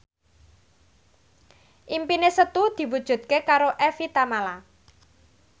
impine Setu diwujudke karo Evie Tamala